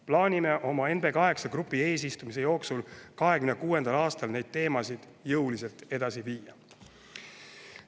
Plaanime oma NB8 grupi eesistumise jooksul 2026. aastal neid teemasid jõuliselt edasi viia.